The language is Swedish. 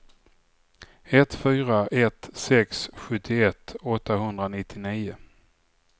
ett fyra ett sex sjuttioett åttahundranittionio